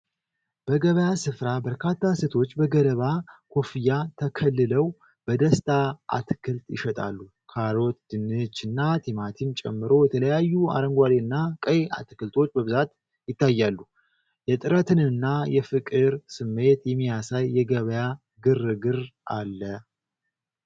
በገበያ ስፍራ፣ በርካታ ሴቶች በገለባ ኮፍያ ተከልለው በደስታ አትክልት ይሸጣሉ። ካሮት፣ ድንችና ቲማቲም ጨምሮ የተለያዩ አረንጓዴና ቀይ አትክልቶች በብዛት ይታያሉ። የጥረትንና የፍቅር ስሜት የሚያሳይ የገበያ ግርግር አለ።